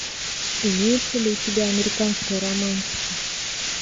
имеется ли у тебя американская романтика